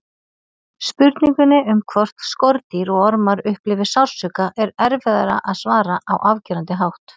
Spurningunni um hvort skordýr og ormar upplifi sársauka er erfiðara að svara á afgerandi hátt.